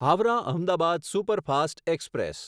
Howrah Ahmedabad superfast express